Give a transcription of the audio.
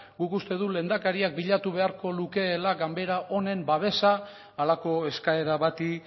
guk uste dugu lehendakariak bilatu beharko lukeela ganbera honen babesa halako eskaera bati